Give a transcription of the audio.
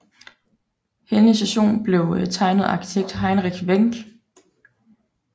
Henne station blev tegnet af arkitekt Heinrich Wenck